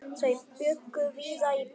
Þau bjuggu víða í bænum.